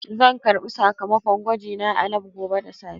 Zan karɓi sakamakon gwajina a lab gobe da safe.